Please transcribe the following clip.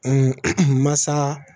masa